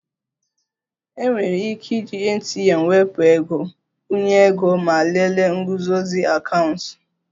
Enwere ike iji ATM wepụ ego, nkwụnye ego ego ma lelee nguzozi akaụntụ